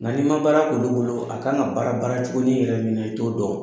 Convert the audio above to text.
Nka n'i ma baara kɛ olu bolo a kan ka baara baara cogonin min yɛrɛ na, i to dɔn wo!